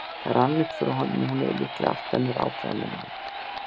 Það rann upp fyrir honum að hún hefði líklega allt önnur áform en hann.